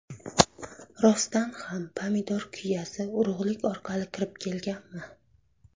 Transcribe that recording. Rostdan ham pomidor kuyasi urug‘lik orqali kirib kelganmi?